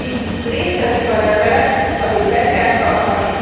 De amíg létezik a rendelet, addig be kell tartani.